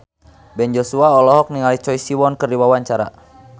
Ben Joshua olohok ningali Choi Siwon keur diwawancara